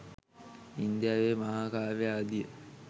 ඉන්දියාවේ මහා කාව්‍ය ආදිය